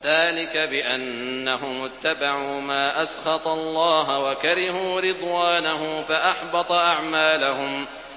ذَٰلِكَ بِأَنَّهُمُ اتَّبَعُوا مَا أَسْخَطَ اللَّهَ وَكَرِهُوا رِضْوَانَهُ فَأَحْبَطَ أَعْمَالَهُمْ